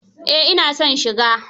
Eh ina son shiga.